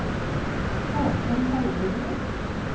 Haakon Haugerud